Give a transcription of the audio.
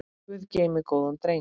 Guð geymi góðan dreng.